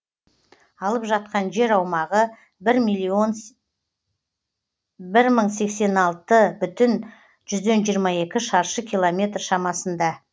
алып жатқан жер аумағы бір мың сексен алты бүтін жүзден жиырма екі шаршы километр шамасында